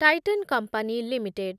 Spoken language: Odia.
Titan company limited